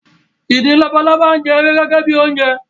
Ìdin labalábá ń jẹ ewé gẹ́gẹ́ bi oúnjẹ